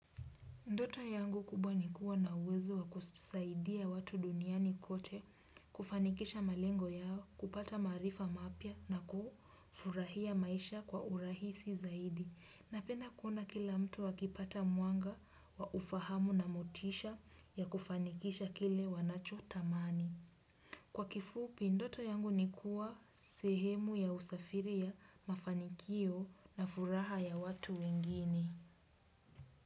Ndoto yangu kubwa ni kuwa na uwezo wa kusaidia watu duniani kote kufanikisha malengo yao, kupata maarifa mapya na kufurahia maisha kwa urahisi zaidi. Napenda kuona kila mtu akipata mwanga wa ufahamu na motisha ya kufanikisha kile wanachotamani. Kwa kifupi, ndoto yangu ni kuwa sehemu ya usafiri ya mafanikio na furaha ya watu wengine.